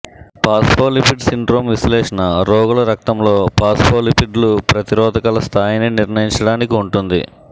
phospholipid syndrome విశ్లేషణ రోగుల రక్తంలో ఫాస్ఫోలిపిడ్లు ప్రతిరోధకాల స్థాయిని నిర్ణయించడానికి ఉంటుంది